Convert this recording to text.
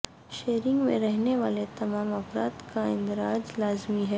sharing میں رہنے والے تمام افراد کا اندراج لازمی ہے